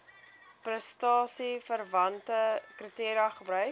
prestasieverwante kriteria gebruik